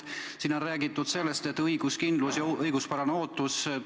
Siin on räägitud õiguskindlusest ja õiguspärasest ootusest.